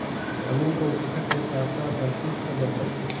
Kalluunku wuxuu ka qaybqaataa dalxiiska badda.